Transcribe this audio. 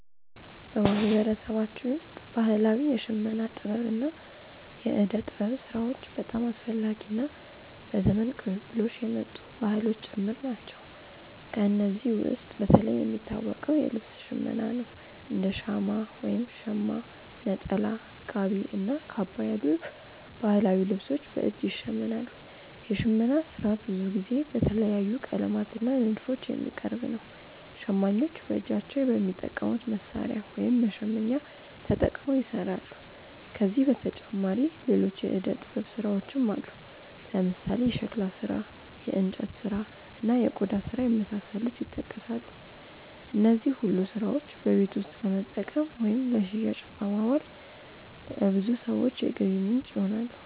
በማህበረሰባችን ውስጥ ባህላዊ የሽመና ጥበብ እና የእደ ጥበብ ስራዎች በጣም አስፈላጊ እና በዘመን ቅብብሎሽ የመጡ ባህሎችም ጭምር ናቸው። ከእነዚህ ውስጥ በተለይ የሚታወቀው የልብስ ሽመና ነው፤ እንደ ሻማ (ሸማ)፣ ነጠላ፣ ጋቢ እና ካባ ያሉ ባህላዊ ልብሶች በእጅ ይሸመናሉ። የሽመና ስራ ብዙ ጊዜ በተለያዩ ቀለማት እና ንድፎች የሚቀርብ ነው። ሸማኞች በእጃቸው በሚጠቀሙት መሣሪያ (መሸመኛ)ተጠቅመው ይሰራሉ። ከዚህ በተጨማሪ ሌሎች የእደ ጥበብ ስራዎችም አሉ፦ ለምሳሌ የሸክላ ስራ፣ የእንጨት ስራ፣ እና የቆዳ ስራ የመሳሰሉት ይጠቀሳሉ። እነዚህ ሁሉ ስራዎች በቤት ውስጥ ለመጠቀም ወይም ለሽያጭ በማዋል ለብዙ ሰዎች የገቢ ምንጭ ይሆናሉ።